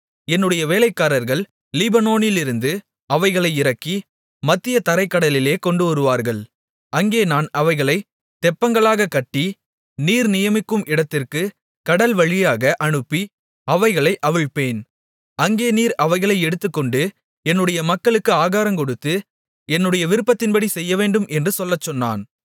என்னுடைய வேலைக்காரர்கள் லீபனோனிலிருந்து அவைகளை இறக்கி மத்திய தரைக் கடலிலே கொண்டுவருவார்கள் அங்கே நான் அவைகளைத் தெப்பங்களாகக் கட்டி நீர் நியமிக்கும் இடத்திற்குக் கடல்வழியாக அனுப்பி அவைகளை அவிழ்ப்பேன் அங்கே நீர் அவைகளை எடுத்துக்கொண்டு என்னுடைய மக்களுக்கு ஆகாரங்கொடுத்து என்னுடைய விருப்பத்தின்படி செய்யவேண்டும் என்று சொல்லச்சொன்னான்